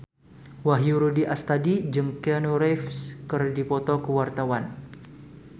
Wahyu Rudi Astadi jeung Keanu Reeves keur dipoto ku wartawan